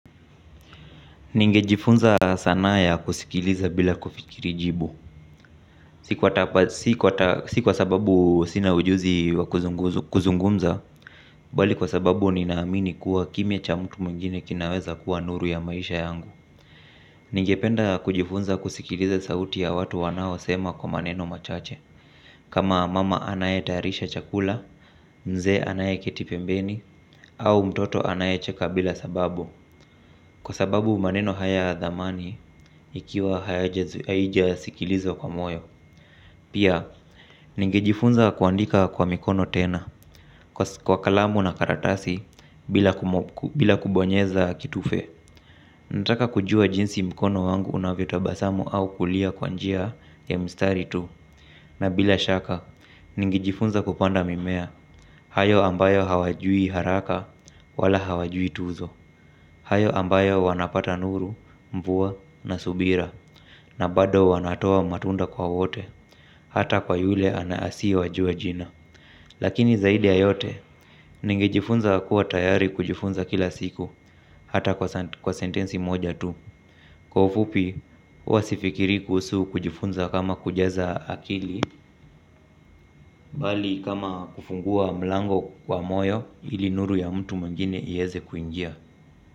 Ninge jifunza sanaa ya kusikiliza bila kufikiri jibu. Si kwa sababu sina ujuzi wa kuzungumza bali kwa sababu ninaamini kuwa kimya cha mtu mwingine kinaweza kuwa nuru ya maisha yangu. Ningependa kujifunza kusikiliza sauti ya watu wanaosema kwa maneno machache. Kama mama anayetayarisha chakula mzee anayeketi pembeni au mtoto anaye cheka bila sababu kwa sababu maneno haya ya dhamani ikiwa haijasikilizwa kwa moyo. Pia, nigejifunza kuandika kwa mikono tena. Kwa kalamu na karatasi bila kubonyeza kitufe nataka kujua jinsi mkono wangu unavyotabasamu au kulia kwa njia ya mistari tu. Na bila shaka, nigejifunza kupanda mimea. Hayo ambayo hawajui haraka wala hawajui tuzo. Hayo ambayo wanapata nuru, mvua na subira. Na bado wanatoa matunda kwa wote. Hata kwa yule anaasi wajua jina. Lakini zaidi yayote nengejifunza kuwa tayari kujifunza kila siku. Hata kwa sentensi moja tu kwa ufupi huwasifikiri kusu kujifunza kama kujaza akili. Bali kama kufungua mlango wa moyo ili nuru ya mtu mwingine ieze kuingia.